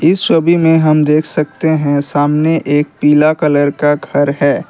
इस छवि में हम देख सकते हैं सामने एक पीला कलर का घर है।